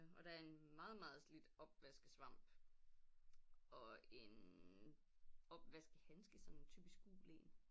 Og der er en meget meget slidt opvaskesvamp og en opvaskehandske sådan en typisk gul en